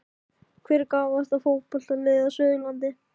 Hvert er gáfaðasta fótboltaliðið á Suðurlandi?